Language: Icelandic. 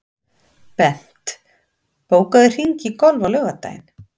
Bent, bókaðu hring í golf á laugardaginn.